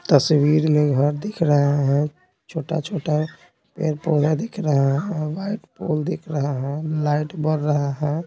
तस्वीर में घर दिख रहे हैं छोटा-छोटा पेड़ पौधा दिख रहे हैं वाइट पोल दिख रहे हैं लाइट बर रहे हैं।